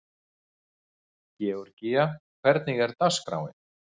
Georgía, hvernig er dagskráin?